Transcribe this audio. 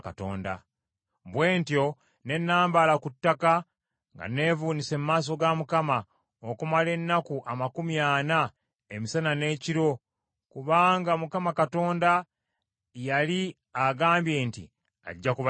Bwe ntyo ne nambaala ku ttaka nga neevuunise mu maaso ga Mukama , okumala ennaku amakumi ana emisana n’ekiro; kubanga Mukama Katonda yali agambye nti ajja kubazikiriza.